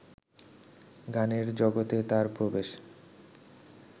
গানের জগতে তার প্রবেশ